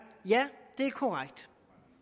ja det er korrekt